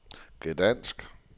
Gdansk